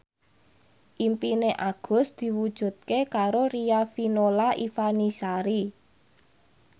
impine Agus diwujudke karo Riafinola Ifani Sari